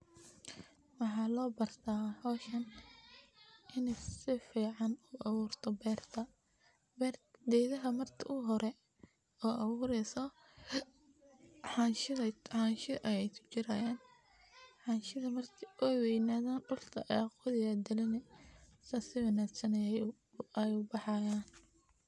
Waxa loo bartaa howshan ini sifican loo aburto beerta. Gedhaha marki uhore oo abuureyso xansha ayeey kujirayaan. Xanshadha marki aay waynadhaan dulka ayaad uqodhi ood gilini saas sii wanagsan ayey ubaxayaan.